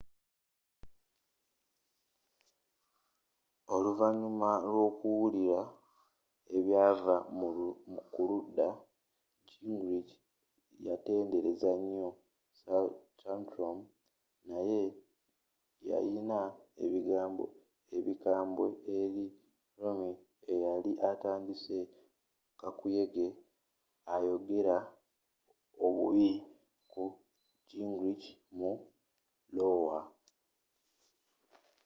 oluvanyuma l'okuwulira ebyava mu kulunda gingrich yatendereza nyo santorum naye yayiyina ebigambo ebikambwe eri romney eyali atandise kakuyege ayogera obubi ku gingrich mu lowa